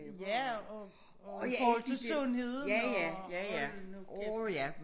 Ja og og i forhold til sundheden og hold nu kæft